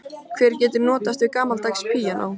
Hver getur notast við gamaldags píanó?